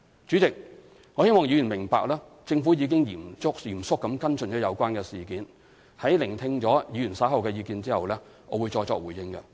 主席，我希望議員明白政府已嚴肅跟進有關事件，在聆聽議員發表的意見後，我會再作回應。